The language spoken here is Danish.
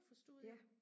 ja